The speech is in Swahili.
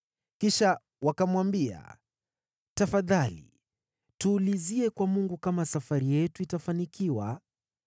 Kisha wakamwambia, “Tafadhali tuulizie kwa Mungu kama safari yetu itafanikiwa.”